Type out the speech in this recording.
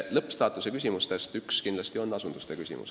Lõppstaatuse küsimustest üks on kindlasti asunduste küsimus.